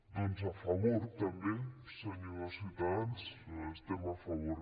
doncs a favor també senyors de ciutadans hi estem a favor